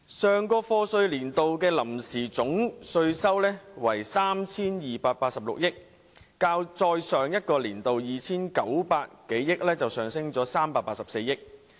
上個課稅年度的臨時總稅收為 3,286 億元，較再上一個年度的 2,902 億元上升384億元。